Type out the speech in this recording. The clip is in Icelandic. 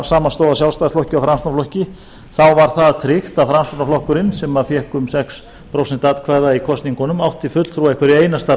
af sjálfstæðisflokki og framsóknarflokki þá var það tryggt að framsóknarflokkurinn sem fékk um sex prósent atkvæða í kosningunum átti fulltrúa í hverju einasta